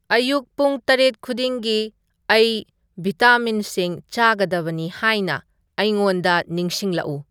ꯑꯌꯨꯛ ꯄꯨꯡ ꯇꯔꯦꯠ ꯈꯨꯗꯤꯡꯒꯤ ꯑꯩ ꯚꯤꯇꯥꯃꯤꯟꯁꯤꯡ ꯆꯥꯒꯗꯕꯅꯤ ꯍꯥꯏꯅ ꯑꯩꯉꯣꯟꯗ ꯅꯤꯡꯁꯤꯡꯂꯛꯎ